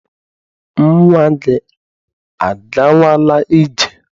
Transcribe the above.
Nnwa gị agawala ije?